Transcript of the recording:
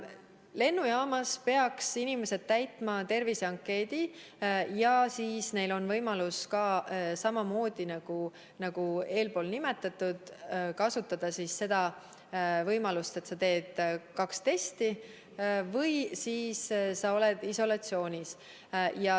Lennujaamas peaksid inimesed täitma terviseankeedi ja siis on neil võimalus samamoodi, nagu eespool kirjeldatud, kas kasutada võimalust teha kaks testi või olla isolatsioonis.